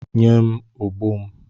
Nye m ogbo m!